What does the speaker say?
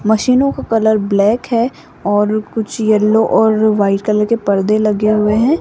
मशीनों का colour black है और कुछ येलो और वाइट कलर के पर्दे लगे हुए हैं।